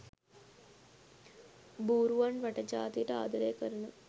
බූරුවන් රට ජාතියට ආදරය කරන